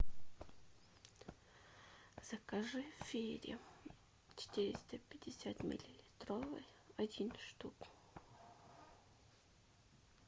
закажи фери четыреста пятьдесят миллилитровый один штук